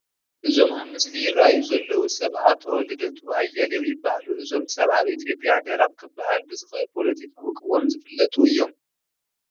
እዞም ኣብ ምስሊ ይርአዩ ዘለዉ ሰብ ኣቶ ልደቱ ኣያሌው ይበሃሉ፡፡ እዞም ሰብ ኣብ ኢትዮጵያ ደረቕ ክበሃል ብዝኽእል ፖለቲካዊ ቅዋም ዝፍለጡ እዮም፡፡